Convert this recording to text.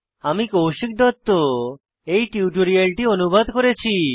আমি কৌশিক দত্ত এই টিউটোরিয়ালটি অনুবাদ করেছি